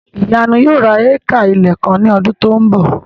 Ìyanu yóò ra éékà ilẹ̀ kan ní ọdún tí ó ń bọ̀